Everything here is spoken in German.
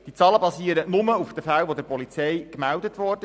Die Zahlen basieren nur auf den Fällen, die der Polizei gemeldet wurden.